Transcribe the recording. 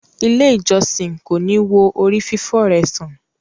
Ile ìjósìn ko ni wo ori fifọ rẹ san.